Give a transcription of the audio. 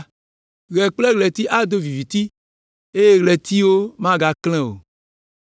Ɣe kple ɣleti ado viviti eye ɣletiviwo magaklẽ o.